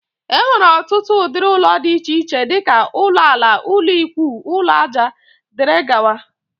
Enwere ọtụtụ ụdịrị ụlọ dị iche iche dika: ụlọ ala, ụlọ ikwúú, ụlọ aja wdg.